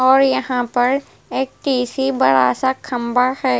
और यहाँ पर एक तीसी बड़ा सा खंबा है ।